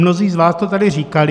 Mnozí z vás to tady říkali.